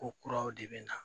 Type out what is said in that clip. Ko kuraw de bɛ na